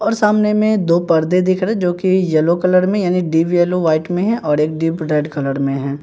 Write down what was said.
और सामने में दो परदे दिख रहे जो कि येलो कलर में यानी डीव येलो व्हाइट में है और एक डीप रेड कलर में हैं।